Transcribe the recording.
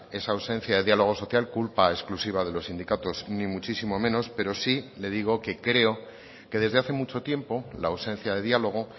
esa ausencia de diálogo social culpa exclusiva de los sindicatos ni muchísimo menos pero sí le digo que creo que desde hace mucho tiempo la ausencia de diálogo